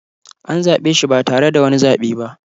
An zaɓe shi ba tare da wani zaɓe ba